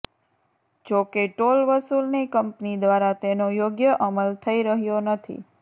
જો કે ટોલ વસૂલની કંપની દ્વારા તેનો યોગ્ય અમલ થઈ રહ્યો નથી